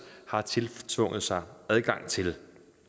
har tiltvunget sig adgang til